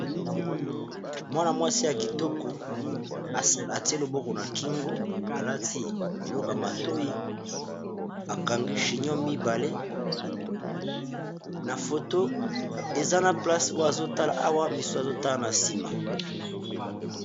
mwana-mwasi ya kitoko atie loboko na kingo alati biloka matoi akangi chinon mibale na foto eza na place oya azotala awa misu azotala na nsima